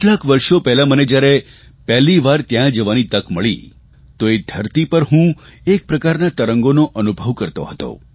કેટલાંક વર્ષો પહેલાં મને જયારે પહેલીવાર ત્યાં જવાની તક મળી તો એ ધરતી પર હું એકપ્રકારના તરંગોનો અનુભવ કરતો હતો